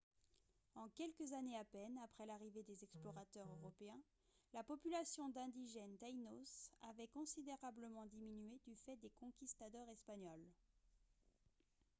en quelques années à peine après l'arrivée des explorateurs européens la population d'indigènes taïnos avait considérablement diminué du fait des conquistadors espagnols